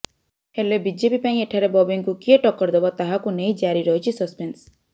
ହେଲେ ବିଜେପି ପାଇଁ ଏଠାରେ ବବିଙ୍କୁ କିଏ ଟକ୍କର ଦେବ ତାହାକୁ ନେଇ ଜାରି ରହିଛି ସସପେନ୍ସ